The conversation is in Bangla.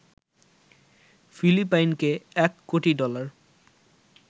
ফিলিপাইনকে ১ কোটি ডলার